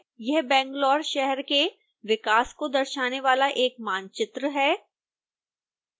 यह बैंगलोर शहर के विकास को दर्शाने वाला एक मानचित्र है